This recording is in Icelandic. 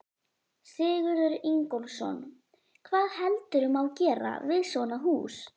Sigurður Ingólfsson: Hvað heldurðu má gera við svona hús?